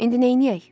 İndi neyləyək?